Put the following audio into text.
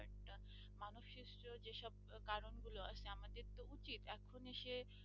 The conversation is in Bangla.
এখন এসে